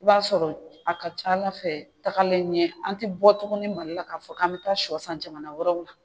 I b'a sɔrɔ a ka ca ala fɛ tagalen ɲɛ an tɛ bɔ tuguni mali la k'a fɔ k'an bɛ taa sɔ san jamana wɛrɛw la